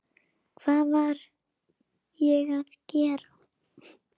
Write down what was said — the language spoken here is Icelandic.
Hvað var ég að gera?